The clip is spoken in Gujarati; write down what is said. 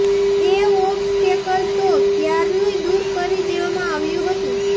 એ ઓબ્સ્ટેકલ તો ક્યારનુંય દૂર કરી દેવામાં આવ્યું હતું